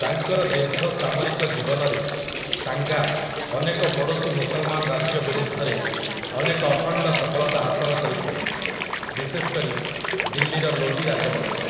ତାଙ୍କର ଦୀର୍ଘ ସାମରିକ ଜୀବନରେ ସାଙ୍ଗା ଅନେକ ପଡ଼ୋଶୀ ମୁସଲମାନ ରାଜ୍ୟ ବିରୁଦ୍ଧରେ ଅନେକ ଅଖଣ୍ଡ ସଫଳତା ହାସଲ କରିଥିଲେ, ବିଶେଷ କରି ଦିଲ୍ଲୀର ଲୋଦୀ ରାଜବଂଶ ।